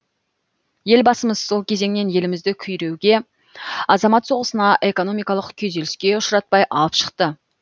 елбасымыз сол кезеңнен елімізді күйреуге азамат соғысына экономикалық күйзеліске ұшыратпай алып шықты